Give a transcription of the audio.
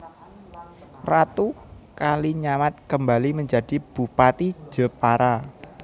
Ratu Kalinyamat kembali menjadi bupati Jepara